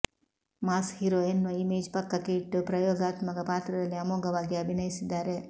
mass hero ಎನ್ನುವ image ಪಕ್ಕಕ್ಕೆ ಇಟ್ಟು ಪ್ರಯೋಗಾತ್ಮಕ ಪಾತ್ರದಲ್ಲಿ ಅಮೋಘವಾಗಿ ಅಭಿನಯಿಸಿದ್ದಾರೆ